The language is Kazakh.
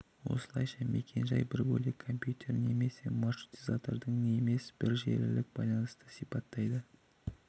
осылайша мекен-жай бір бөлек компьютер немесе маршрутизаторды емес бір желілік байланысты сипаттайды